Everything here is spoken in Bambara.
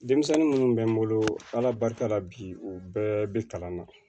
Denmisɛnnin munnu bɛ n bolo ala barika la bi u bɛɛ bɛ kalan na